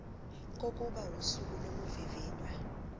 kokuba usuku lokuvivinywa